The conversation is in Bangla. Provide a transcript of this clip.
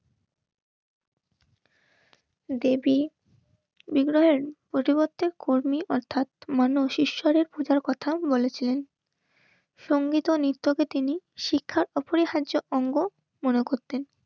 দেবী ইংরাজী কর্মী অর্থাৎ মানস ঈশ্বরের খোঁজার কথা বলেছিলেন সঙ্গীত ও নৃত্যকে তিনি শিক্ষার ওপরে হার্য অঙ্গ মনে করবেন.